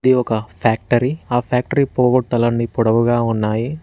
ఒక ఫ్యాక్టరీ ఆ ఫ్యాక్టరీ పోగొట్టాలని పొడవుగా ఉన్నాయి.